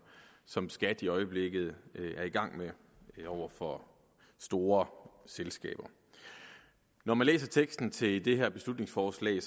som skat i øjeblikket er i gang med over for store selskaber når man læser teksten til det her beslutningsforslag